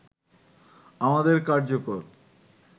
আমাদের কার্যকর